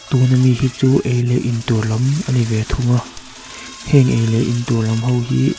tun ami hi chu ei leh in tur lan ani ve thung a heng ei leh in tur lam ho hi--